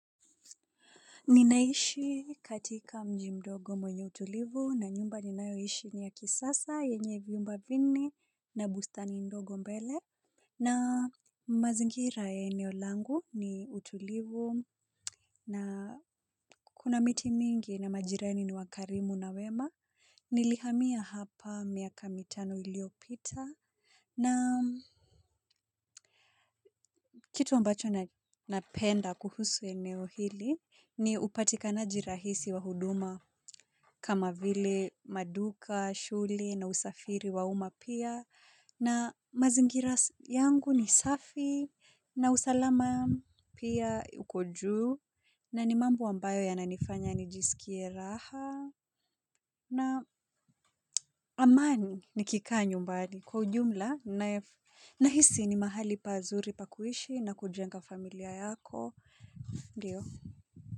Ninaishi katika mji mdogo mwenye utulivu na nyumba ninaoishi ni ya kisasa yenye vyumba vinne na bustani ndogo mbele. Na mazingira ya eneo langu ni utulivu na kuna miti mingi na majirani ni wakarimu na wema. Nilihamia hapa miaka mitano iliopita. Na kitu ambacho napenda kuhusu eneo hili ni upatikanaji rahisi wa huduma kama vile maduka, shule na usafiri wa umma pia. Na mazingira yangu ni safi na usalama pia uko juu na ni mambo ambayo yananifanya nijisikie raha na amani nikikaa nyumbani kwa ujumla. Nahisi ni mahali pazuri pa kuishi na kujenga familia yako, ndio.